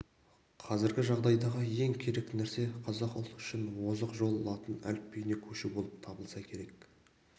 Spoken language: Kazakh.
қазіргі жағдайдағы ең керек нәрсе қазақ ұлты үшін озық жол латын әліпбиіне көшу болып табылса керек